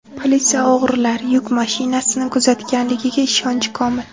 Politsiya o‘g‘rilar yuk mashinasini kuzatganligiga ishonchi komil.